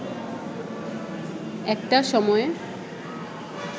একটা সময়ে